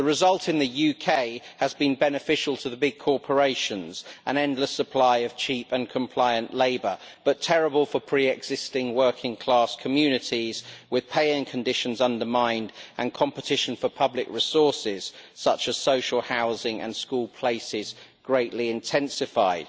The result in the UK has been beneficial to big corporations an endless supply of cheap and compliant labour but terrible for pre existing working class communities, with pay and conditions undermined and competition for public resources, such as social housing and school places, greatly intensified.